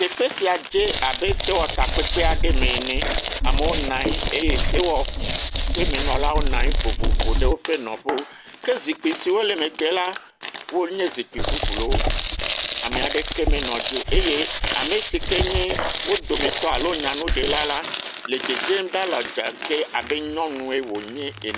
Teƒe sia dze abe sewɔtakpekpe aɖe me ene. Amewo nɔ anyi eye sewɔƒemenɔlawo nɔ anyi vovovo ɖe woƒe nɔƒewo. Ke zikpi siwo le megbe la wonye zikpi ƒuƒluwo, ame aɖeke menɔ dzi o. Eye ame si ke nye wo dometɔ alo nyanuɖela la le dzedzem ɖaa le adzage abe nyɔnue wònye ene.